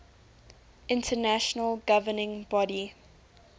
international governing body